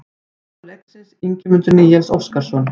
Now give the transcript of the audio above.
Maður leiksins: Ingimundur Níels Óskarsson